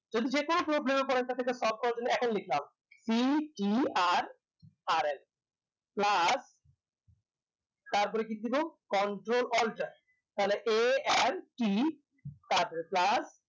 যদি যে কোনো problem এ পড়েন থাকে just stop করার জন্য এখন লিখলাম ctrl plus তারপরে কি দেব control alter তাহলে art তারপরে plus